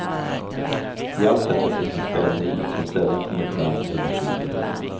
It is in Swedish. I allt detta finns en spänning som sällan kommer fram eller skildras.